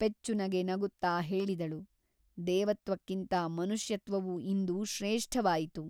ಪೆಚ್ಚುನಗೆ ನಗುತ್ತ ಹೇಳಿದಳು ದೇವತ್ವಕ್ಕಿಂತ ಮನುಷ್ಯತ್ವವು ಇಂದು ಶ್ರೇಷ್ಠವಾಯಿತು.